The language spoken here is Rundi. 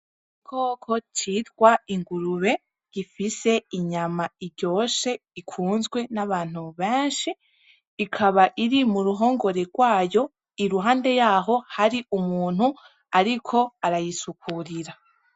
Ikoko citwa ingurube gifise inyama iryoshe ikunzwe n'abantu benshi ikaba iri mu ruhongore rwayo iruhande yaho hari umuntu, ariko arayisukurira.